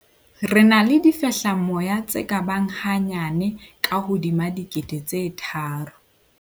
Re na le difehlamoya tse ka bang hanyane ka hodima 3 000.